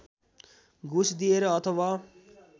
घुस दिएर अथवा